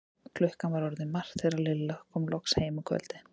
Klukkan var orðin margt þegar Lilla kom loksins heim um kvöldið.